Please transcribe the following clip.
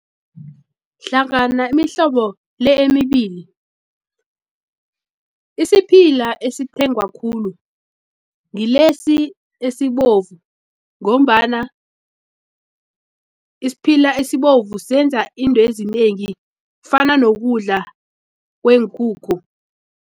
Hlangana imihlobo le emibili isiphila esithengwa khulu ngilesi esibovu ngombana isiphila esibovu senza intwezinengi kufana nokudla kweenkukhu.